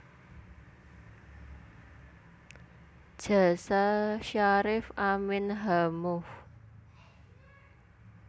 Jasa Syarif Amin H Moh